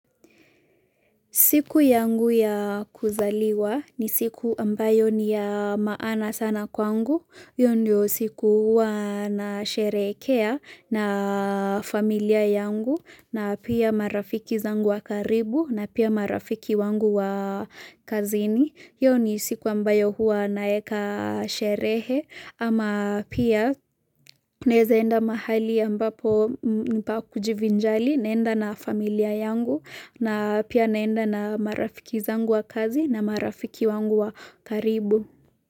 Siku yangu ya kuzaliwa ni siku ambayo ni ya maana sana kwangu, hiyo ndio siku huwa na sherehekea na familia yangu na pia marafiki zangu wa karibu na pia marafiki wangu wa kazini. Hiyo ni siku ambayo huwa naeka sherehe ama pia naeza enda mahali ambapo nipa kujivinjari naenda na familia yangu na pia naenda na marafiki zangu wa kazi na marafiki wangu wa karibu.